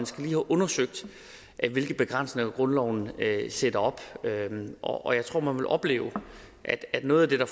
skal have undersøgt hvilke begrænsninger grundloven sætter op og jeg tror man vil opleve at at noget af det der